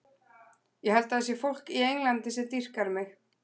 Ég held að það sé fólk í Englandi sem dýrkar mig.